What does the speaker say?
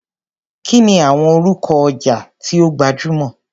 Kí ni àwọn orúkọ ọjà tí ó gbajúmọ̀?